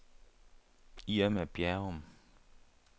Irma Bjerrum